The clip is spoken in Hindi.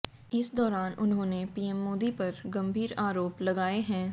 इस दौरान उन्होंने पीएम मोदी पर गंभीर आरोप लगाए हैं